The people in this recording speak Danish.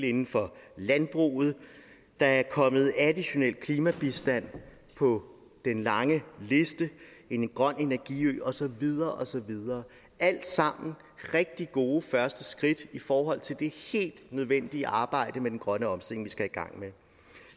inden for landbruget der er kommet additionel klimabistand på den lange liste en grøn energi ø og så videre og så videre alt sammen er rigtig gode første skridt i forhold til det helt nødvendige arbejde med den grønne omstilling vi skal i gang med